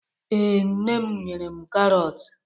Ee, Nne m nyere m karọt